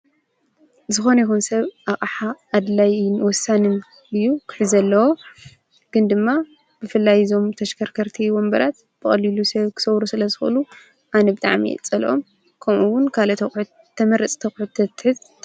ዝኸነ ይኹን ሰብ ኣቅሓ ኣድላይን ወሳንን እዩ ክሕዝ ዘለዎ ። ግን ድማ ብፍላይ እዞም ተሽከርከርቲ ወንበራት ብቀሊሉ ሰብ ክሰብሩ ስለዝኽእሉ ኣነ ብጣዕም እየ ዝጸልኦም ።ከምኡ ዉን ካልኦት ኣቁሑት ተመርጽቲ ኣቁሑት ተትሕዝ።